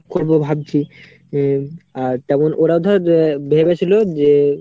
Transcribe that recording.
করবো ভাবছি উম আর ওরাও তেমন ধর ভেবেছিলো যে;